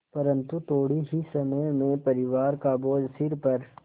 परन्तु थोडे़ ही समय में परिवार का बोझ सिर पर